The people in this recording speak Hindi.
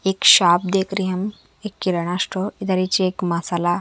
एक शॉप देख रहें हम एक किराना स्टोर इधर येच एक मसाला--